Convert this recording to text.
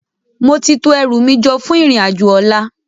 Móti tó èrú mi fún irin ájò òlá